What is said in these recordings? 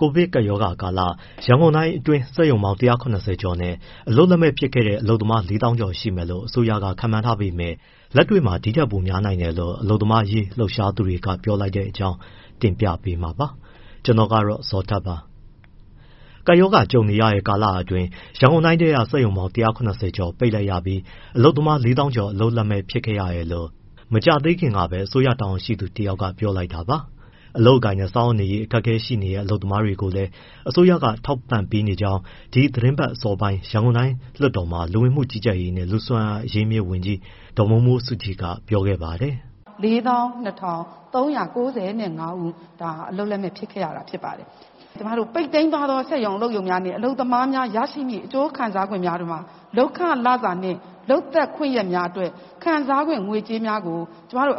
ကိုဗစ်ကပ်ရောဂါကာလ ရန်ကုန်တိုင်းအတွင်း စက်ရုံပေါင်း ၁၇၀ ကျော်နဲ့ အလုပ်လက်မဲ့ ဖြစ်ခဲ့ရတဲ့ အလုပ်သမား ၄ သောင်းကျော် ရှိမယ်လို့ အစိုးရက ခန့်မှန်းထားပေမဲ့ လက်တွေ့မှာ ဒီထက်ပိုများနိုင်တယ်လို့ အလုပ်သမားရေး လှုပ်ရှားသူတွေက ပြောလိုက်တဲ့အကြောင်း တင်ပြပေးမှာပါ။ ဗွီအိုအေမြန်မာပိုင်း သတင်းထောက် ကိုဇော်ထက်က သတင်းပေးပို့ထားပါတယ်။ ကပ်ရောဂါ ကြုံနေရတဲ့ ကာလအတွင်း ရန်ကုန်တိုင်းထဲက စက်ရုံပေါင်း ၁၇၀ ကျော်ပိတ်လိုက်ရပြီး အလုပ်သမား ၄ သောင်းကျော် အလုပ်လက်မဲ့ ဖြစ်ခဲ့ရတယ်လို့ မကြာသေးခင်ကပဲ အစိုးရတာဝန်ရှိသူ တယောက်က ပြောလိုက်တာပါ။ အလုပ်အကိုင်နဲ့ စားဝတ်နေရေး အခက်အခဲရှိတဲ့ အလုပ်သမားတွေကိုလည်း အစိုးရက ထောက်ပံ့ပေးနေကြောင်း ဒီသီတင်းပတ်အစောပိုင်း ရန်ကုန်တိုင်းလွှတ်တော်မှာ လူဝန်မှုကြီးကြပ်ရေး နဲ့ လူ့စွမ်းအားအရင်းအမြစ်ဝန်ကြီး ဒေါ်မိုးမိုးစုကြည်က ပြောခဲ့ပါတယ်။ “ ၄၂၃၉၅ ဦး ဒါဟာအလုပ်လက်မဲ့ ဖြစ်ခဲ့ရတာ ဖြစ်ပါတယ်။ ကျမတို့ ပိတ်သိမ်းသွားတဲ့ စက်ရုံအလုပ်ရုံ နဲ့ အလုပ်သမားများ ရရှိမယ့် အကျိုးခံစားခွင့်များထဲမှ လုပ်ခလစာနှင့် လုပ်သက်ခွင့်ရက်များအတွက် ခံစားခွင့် ငွေကြေးများကို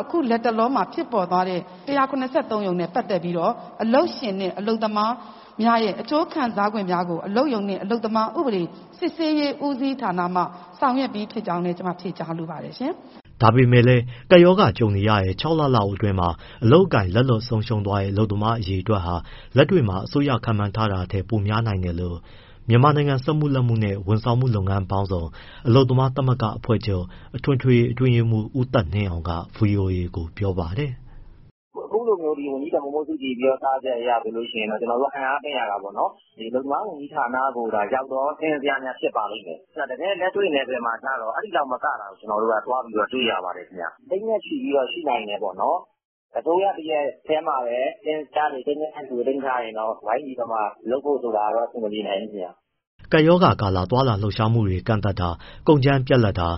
အခုလက်တလောမှာ ဖြစ်ပေါ်သွားတဲ့ ၁၇၃ ရုံနဲ့ပတ်သက်ပြီးတော့ အလုပ်ရှင် နှင့် အလုပ်သမားများရဲ့ အကျိုးခံစားခွင့်များကို အလုပ်ရုံနှင့် အလုပ်သမားစစ်ဆေးရေး ဦးစီးဌာနမှ ဆောင်ရွက်ပြီးဖြစ်ကြောင်းလည်း ကျမဖြေကြားလိုပါတယ်။” ဒါပေမဲ့လည်း ကပ်ရောဂါ ကြုံနေရတဲ့ ၆ လလောက်အတွင်း အလုပ်အကိုင် လက်လွတ်ဆုံးရှုံးတဲ့ အလုပ်သမား အရေအတွက်ဟာ လက်တွေ့မှာ အစိုးရခန့်မှန်းချက်ထက် ပိုများနိုင်တယ်လို့ မြန်မာနိုင်ငံ စက်မှုလက်မှုနဲ့ ဝန်ဆောင်မှု လုပ်ငန်းပေါင်းစုံ အလုပ်သမားများသမဂ္ဂ အဖွဲ့ချုပ် အထွေထွေအတွင်းရေးမှူး ဦးသက်နှင်းအောင်က ဗွီအိုအေကို ပြောပါတယ်။ “ အခုလိုမျိုး ဝန်ကြီးဒေါ်မိုးမိုးစုကြည်ပြောကြားချက်အရဆိုရင် ကျနော်တို့ အံ့အားသင့်ရတာပေါ့နော်၊ အလုပ်သမားဝန်ကြီးဌာနကိုသာ ရောက်သော စာရင်းဇယားများ ဖြစ်ပါလိမ့်မယ်။ တကယ့်လက်တွေ့ နယ်ပယ်မှာကျတော့ အဲဒီလောက်မကတာကို ကျနော်တို့က သွားပြီးတွေ့ရပါတယ်ခင်ဗျ။ သိန်းနဲ့ချီပြီးတော့ ရှိနိုင်တယ်ပေါ့နော်။ အစိုးရတရပ်တည်းမှာပဲ စာရင်းဇယားတွေ၊ ကိန်းဂဏန်းတွေကို သိမ်းထားရင်တော့ ဝိုင်းပြီးတော့မှ လုပ်ဖို့ဆိုတာကတော့ အဆင်မပြေနိုင်ဘူးခင်ဗျ။” ကပ်ရောဂါကာလ သွားလာလှုပ်ရှားမှုတွေ ကန့်သတ်တာ၊ ကုန်ကြမ်းပြတ်လပ်တာ၊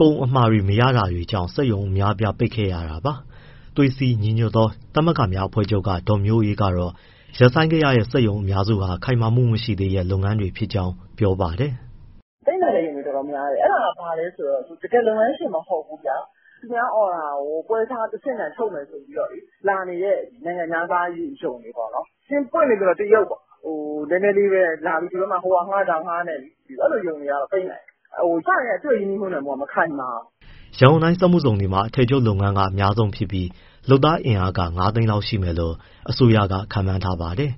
ကုန်အမှာ မရတာတွေကြောင့် စက်ရုံတွေ အများအပြား ပိတ်ခဲ့ရတာပါ။ သွေးစည်းညီညွတ်သောသမဂ္ဂများအဖွဲ့ချုပ်က ဒေါ်မျိုးအေးကတော့ ရပ်ဆိုင်းခဲ့ရတဲ့ စက်ရုံအများစုဟာ ခိုင်မာမှုမရှိသေးတဲ့ လုပ်ငန်းတွေ ဖြစ်ကြောင်း ပြောပါတယ်။ “ပိတ်နိုင်တဲ့ရုံတွေတော်တော်များတယ်၊ အဲဒါက ဘာလဲဆိုတော့ တကယ်လုပ်ငန်းရှင် မဟုတ်ဘူးဗျာ၊ သူများ order ကို ပွဲစားတဆင့်ခံချုပ်မယ်ဆိုပြီးမှ လာနေတဲ့ နိုင်ငံခြားသား ရုံတွေပေါ့နော်။ ပွင့်ပွင့်လင်းလင်းပြောရရင် တရုတ်ပေါ့။ နည်းနည်းလေးပဲလာပြီး ဒီဘက်မှာ ဟိုဟာငှား၊ ဒီဟာငှားနဲ့ အဲဒီလိုရုံတွေကတော့ ပိတ်နိုင်တယ်။ အစကတည်းက သူ့ရဲ့ ရင်းနှီးမြှုပ်နှံမှုက မခိုင်မာဘူး။” ရန်ကုန်တိုင်းစက်မှုဇုံတွေမှာ အထည်ချုပ်လုပ်ငန်းက အများဆုံးဖြစ်ပြီး လုပ်သားအင်အား ၅ သိန်းလောက်ရှိမယ်လို့ အစိုးရက ခန့်မှန်းထားပါတယ်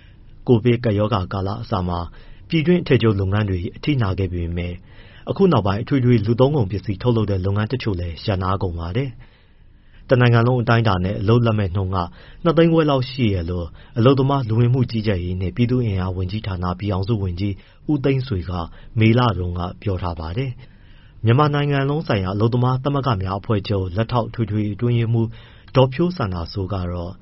။ ကိုဗစ်ကပ်ရောဂါကာလအစမှာ ပြည်တွင်း အထည်ချုပ်လုပ်ငန်းတွေ အထိနာခဲ့ပေမဲ့ အခုနောက်ပိုင်း အထွေထွေလူသုံးကုန်ပစ္စည်း ထုတ်လုပ်တဲ့ လုပ်ငန်းတချို့လည်း ရပ်နားကုန်ပါတယ်။ တနိုင်ငံလုံးအတိုင်းအတာနဲ့ အလုပ်လက်မဲ့နှုန်းက ၂၅၀၀၀၀ ရှိတယ်လို့ အလုပ်သမား၊ လူဝင်မှုကြီးကြပ်ရေးနှင့် ပြည်သူ့အင်အားဝန်ကြီးဌာန ပြည်ထောင်စုဝန်ကြီး ဦးသိန်းဆွေက မေလတုန်းကပဲ ပြောထားပါတယ်။ မြန်မာနိုင်လုံးဆိုင်ရာ အလုပ်သမားသမဂ္ဂများအဖွဲ့ချုပ် လက်ထောက်အထွေထွေအတွင်းရေးမှူး ဒေါ်ဖြိုးစန္ဒာစိုးကတော့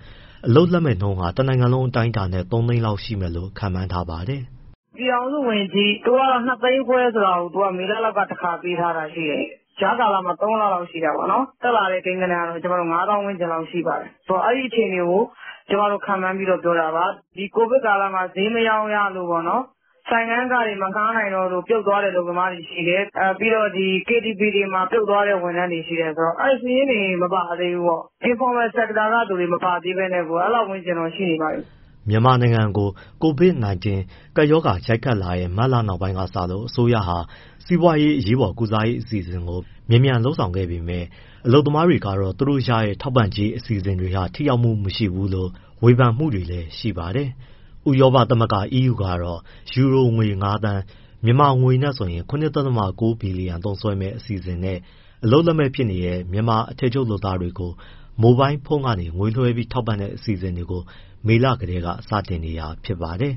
အလုပ်လက်မဲ့နှုန်းဟာ တနိုင်ငံလုံးအတိုင်းအတာနဲ့ ၃သိန်းလောက် ရှိမယ်လို့ ခန့်မှန်းထားပါတယ်။ “ပြည်ထောင်စုဝန်ကြီး သူက ၂၅၀၀၀၀ ဆိုတာကို မေလတုန်းက တခါပေးထားတာရှိတယ်။ ကြားကာလမှာ ၃ လလောက်ရှိတာပေါ့နော်။ တက်လာတဲ့ ကိန်းဂဏန်းကတော့ ၅ သောင်းလောက်ရှိပါတယ်။ ဆိုတော့ အဲဒီအခြေအနေကို ကျမတို့ ခန့်မှန်းပြီးတော့ပြောတာပါ။ ဒီ ကိုဗစ်ကာလမှာ ဈေးမရောင်းရတို့၊ ဆိုင်ခန်းခတွေ မငှားနိုင်တော့လို့ ပြုတ်သွားတဲ့ အလုပ်သမားတွေရှိတယ်၊ ပြီးတော့ ဒီ KTVတွေမှာ ပြုတ်သွားတဲ့ ဝန်ထမ်းတွေရှိတယ်၊ ဆိုတော့ အဲဒီ စာရင်းတွေမပါသေးဘူးပေါ့။ Informal Sector ကသူတွေ မပါသေးပဲနဲ့ကို အဲလောက်ဝန်းကျင် ရှိနေပါပြီ။” မြန်မာနိုင်ကို COVID-19 ကပ်ရောဂါရိုက်ခတ်လာတဲ့ မတ်လနောက်ပိုင်းကစလို့ အစိုးရဟာ စီးပွားရေးအရေးပေါ်ကုစားရေး အစီအစဉ်တွေကို မြန်မြန်လုပ်ဆောင်ခဲ့ပေမဲ့ အလုပ်သမားတွေကတော့ သူတို့ရတဲ့ ထောက်ပံ့ကြေး အစီအစဉ်တွေဟာ ထိရောက်မှုမရှိဘူးလို့ ဝေဖန်မှုတွေလည်း ရှိပါတယ်။ ဥရောပသမဂ္ဂ EU ကတော့ ယူရိုငွေ ၅သန်း ( မြန်မာငွေ ၇.၉ ဘီလီယံ) သုံးစွဲမယ့် အစီအစဉ်နဲ့ အလုပ်လက်မဲ့ ဖြစ်နေကြတဲ့ မြန်မာအထည်ချုပ်လုပ်သားတွေကို မိုဘိုင်းဖုန်းကနေ ငွေလွှဲပြီး ထောက်ပံ့တဲ့အစီအစဉ်ကို မေလကတည်းကစတင်နေတာ ဖြစ်ပါတယ်